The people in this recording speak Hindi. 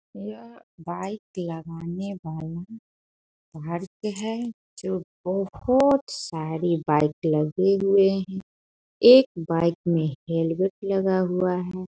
यह बाइक लगाने वाला बाहर के है जो बहुत सारे बाइक लगे हुए हैं। एक बाइक में हेलमेट लगा हुआ है।